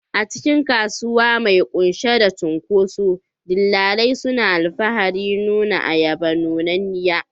A cikin kasuwa mai cike da cunkoso, dillalai suna alfaharin nuna ayaba nunanniya.